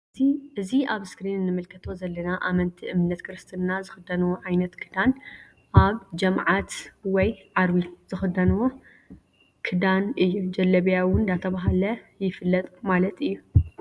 እዚ አብ እስክሪን እንምልከቶ ዘለና አመንቲ እምነት ክርስትና ዝክድንዎ ዓይነት ክዳን አብ ጀምዓት ወይ ዓርቢ ዝክደንዎ ክዳን እዩ::ጀለቢያ እውን ዳተባለ ይፍለጥ ማለት እዩ::